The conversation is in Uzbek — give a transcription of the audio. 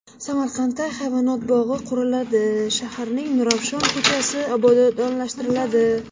Samarqandda hayvonot bog‘i quriladi, shaharning Nurafshon ko‘chasi obodonlashtiriladi.